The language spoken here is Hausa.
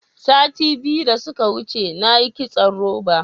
Sati biyu da suka wuce na yi kitson roba.